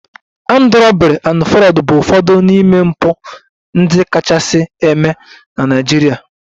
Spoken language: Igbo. Armed robbery and Fraud bụ ụfọdụ n'ime mpụ ndị kachasị eme na Naịjirịa